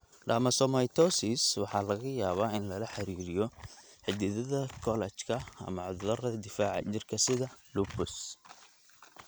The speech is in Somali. Dermatomyositis waxaa laga yaabaa in lala xiriiriyo xididdada kolajka ama cudurrada difaaca jirka, sida lupus.